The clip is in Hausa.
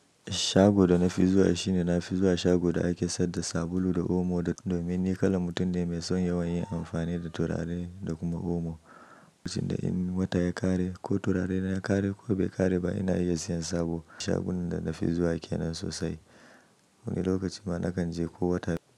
Shago da na fi zuwa shi ne na fi zuwa shago da ake sayar da sabulu da omo domin ni kala mutum ne mai son yawan yin amfani da turare da kuma omo. Lokacin da in wata ya ƙare ko turare na ya ƙare ko bai ƙare ba ina iya siyan sabo. Shagon da na fi zuwa ke nan sosai. Wani lokacin ma nakan je ko wata.